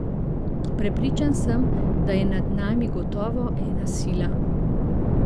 Prepričan sem, da je nad nami gotovo ena sila.